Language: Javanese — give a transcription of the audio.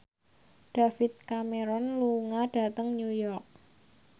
David Cameron lunga dhateng New York